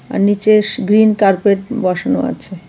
আর নিচে green carpet বসানো আছে.